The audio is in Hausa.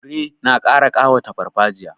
Fure na ƙara ƙawata farfajiya.